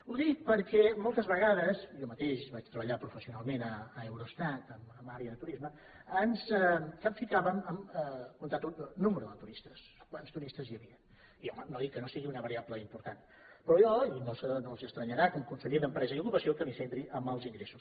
ho dic perquè moltes vegades jo mateix vaig treballar professionalment a eurostat en àrea de turisme ens capficàvem a comptar el nombre de turistes quants turistes hi havien i home no dic que no sigui una variable important però jo no els estranyarà com a conseller d’empresa i ocupació que em centri en els ingressos